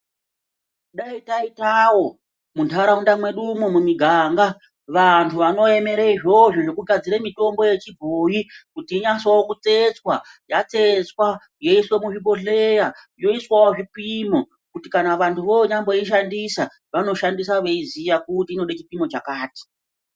Dai taitawo muntharaunda mwedumwo mumiganga vanthu vanoemera izvozvo zvekugadzira mitombo yechibhoyi kuti inyatsowo kutsetswa yatsetswa yoiswa muzvibhohleya yoiswawo zvipimo kuti kana vanthu vonyamboishandisa vanoshandisa veiziya kuti inode chipimo chakati.